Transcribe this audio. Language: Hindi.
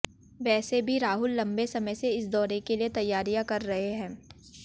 वैसे भी राहुल लंबे समय से इस दौरे के लिए तैयारियां कर रहे हैं